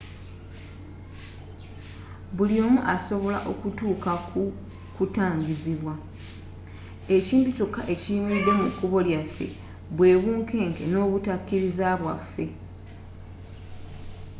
buli omu asobola okutuuka ku kutangazibwa ekintu kyokka ekiyimiridde mu kubo lya yaffe bwe bunkenke n'obutakiriza bwaafe